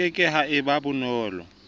ke ke ha eba bonolo